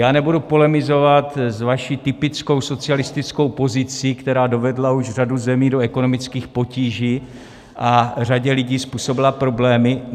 Já nebudu polemizovat s vaší typickou socialistickou pozicí, která dovedla už řadu zemí do ekonomických potíží a řadě lidí způsobila problémy.